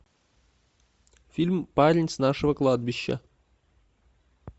фильм парень с нашего кладбища